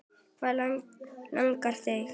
Hvað langar þig?